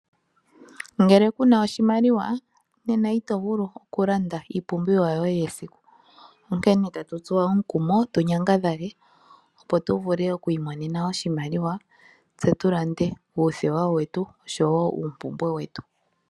Ngele kuna oshimaliwa nena ito vulu oku landa iipumbiwa yoye yesiku, onkene tatu tsu omukumo tu nyangadhale, opo tu vule oku imonena oshimaliwa, tse tu lande uuthewa wetu oshowo uumpumbwe wetu.